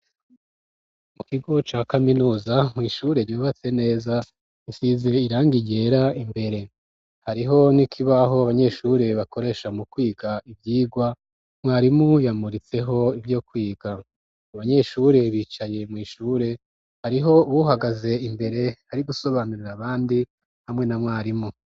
Mu kigo ca kaminuza nkwishure ryobatse neza nsize irangiyera imbere hariho ni kibaho banyeshure bakoresha mu kwiga ivyirwa mwarimuyamuritseho ivyo kwiga ubanyeshure bicaye mw'ishure hariho wuhagaze imbere hari gusobanurira abandi ndi hamwe na mwarimu.